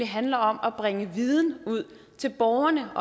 handler om at bringe viden ud til borgerne